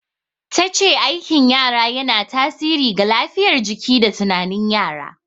Ta ce aikin yara yana tasiri ga lafiyar jiki da tunanin yara.